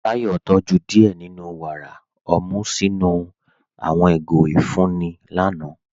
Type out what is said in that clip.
Táyọ̀ tójú díẹ́ nínú wára ọmú sinu àwọn igó ifunni lànà.